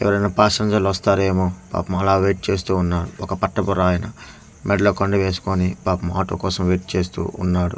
ఎవరైనా పాసెంజర్లు వస్థారేమో పాపం అలా వైట్ చేస్తూ ఉన్నారు ఒక పట్టపుర్ ఆయన మేడలో కొండి వేసుకొని పాపం ఆటో కోసం చేస్తూ ఉన్నాడు.